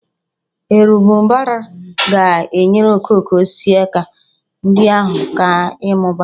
Erembụbara ga-enyere okooko osisi ndị ahụ aka ịmụba